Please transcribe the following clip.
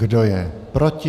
Kdo je proti?